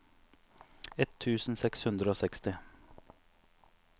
ett tusen seks hundre og seksti